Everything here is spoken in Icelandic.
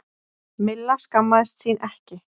Milla skammaðist sín ekki.